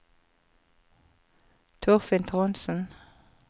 Torfinn Trondsen